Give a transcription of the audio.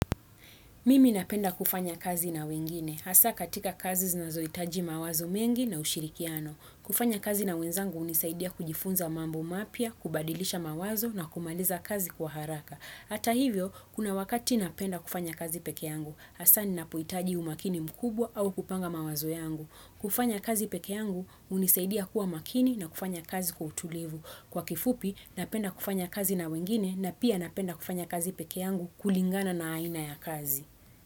Mimi napenda kufanya kazi na wengine. Hasa katika kazi zinazohitaji mawazo mengi na ushirikiano. Kufanya kazi na wenzangu hunisaidia kujifunza mambo mapya, kubadilisha mawazo na kumaliza kazi kwa haraka. Ata hivyo, kuna wakati napenda kufanya kazi peke yangu. Hasa ni napohitaji umakini mkubwa au kupanga mawazo yangu. Kufanya kazi peke yangu unisaidia kuwa makini na kufanya kazi kwa utulivu. Kwa kifupi, napenda kufanya kazi na wengine na pia napenda kufanya kazi peke yangu kulingana na aina ya kazi.